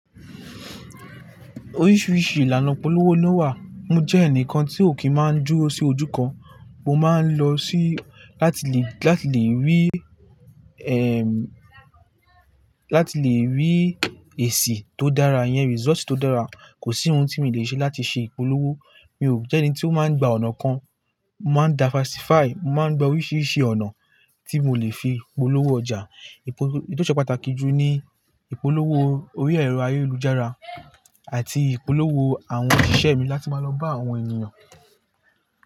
Oríṣiríṣi ìlànà ìpolówó ló wà, mo jẹ́ ẹnìkan tí ò kí máa ń dúró sí ojú kan, mo máa ń lọ sí láti lè, láti lè rí, ẹm, láti lè rí èsì tó dára yẹn, result tó dára. Kò sí ohun tí mi lè ṣe láti ṣe ìpolówó, mi ò jẹ́ ẹni tí ó máa ń gba ọ̀nà kan, mo máa ń diversify, mo máa ń gba oríṣiríṣi ọ̀nà tí mo lè fi polówó ọjà. Èyi tí ó ṣe pàtàkì jù ní ìpolówó orí ẹ̀rọ ayélujára àti ìpolówó àwọn òṣìṣẹ́ mi láti máa lọ bá àwọn ènìyàn.